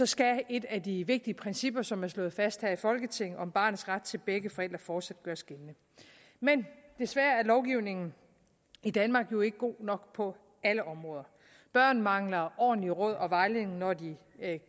skal et af de vigtige principper som er slået fast her i folketinget om barnets ret til begge forældre fortsat gøres gældende men desværre er lovgivningen i danmark jo ikke god nok på alle områder børn mangler ordentlige råd og vejledning når det